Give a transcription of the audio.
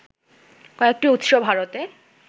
কয়টি উৎস ভারতে